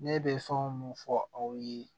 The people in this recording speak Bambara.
Ne bɛ fɛn o mun fɔ aw ye